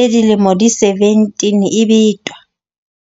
e dilemo di 17 e betwa.